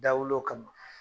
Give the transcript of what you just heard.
Da wulul'o kama.